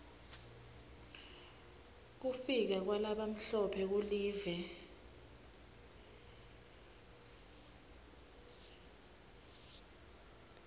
kufika kwalabamhlophe kulive